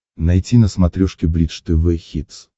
найти на смотрешке бридж тв хитс